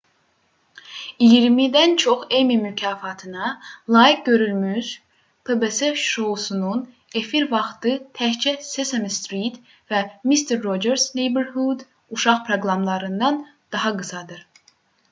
i̇yirmidən çox emmy mükafatına layiq görülmüş pbs şousunun efir vaxtı təkcə sesame street və mister rogers neighborhood uşaq proqramlarından daha qısadır